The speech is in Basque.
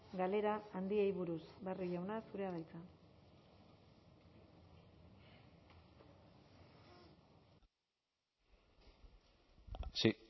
galera handiei buruz barrio jauna zurea da hitza sí